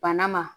Bana ma